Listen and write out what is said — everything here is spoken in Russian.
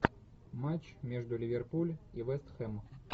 матч между ливерпуль и вест хэм